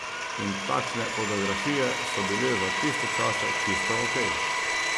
In takšne fotografije so bile za tiste čase čisto ok.